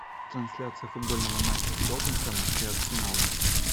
трансляция футбольного матча тоттенхэма и арсенала